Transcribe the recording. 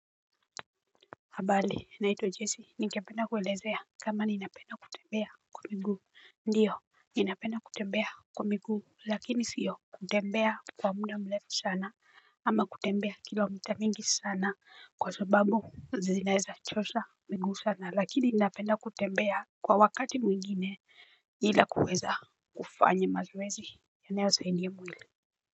Habari, naitwa Jessy, ningependa kuelezea kama ninapenda kutembea kwa miguu. Ndiyo, ninapenda kutembea kwa miguu lakini sio kutembea kwa muda mrefu sana, ama kutembea kilomita mingi sana kwa sababu zinaweza chosha miguu sana lakini ninapenda kutembea kwa wakati mwingine. Ila kuweza kufanya mazoezi, yanayosaidia mwili.